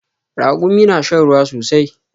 Ragumi na shan ruwa sosai